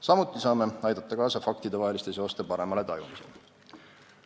Samuti saame aidata kaasa faktide vaheliste seoste paremale tajumisele.